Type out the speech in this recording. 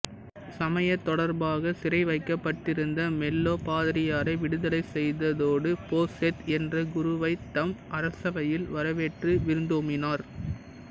சமயத் தொடர்பாக சிறை வைக்கப்பட்டிருந்த மெல்லோ பாதிரியாரை விடுதலை செய்ததோடு போசேத் என்ற குருவைத் தம் அரசவையில் வரவேற்று விருந்தோம்பினார்